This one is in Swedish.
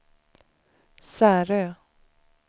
Särö